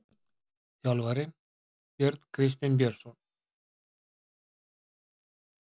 Þjálfarinn: Björn Kristinn Björnsson.